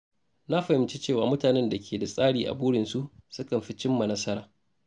Na fahimci cewa mutanen da ke da tsari a burinsu sukan fi cimma nasara.